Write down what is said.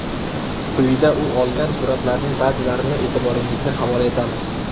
Quyida u olgan suratlarning ba’zilarini e’tiboringizga havola etamiz.